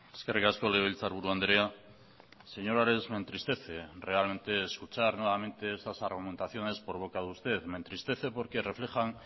eskerrik asko legebiltzarburu andrea señor ares me entristece realmente escuchar nuevamente estas argumentaciones por boca de usted me entristece porque reflejan